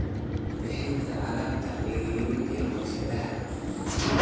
Bixinta alaabta ceeriin ee warshadaha.